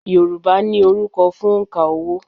Yorùbá ní orúkọ fún òǹkà owó